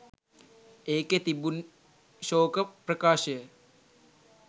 ඒකෙ තිබුණ්ණ් ශෝක ප්‍රකාශය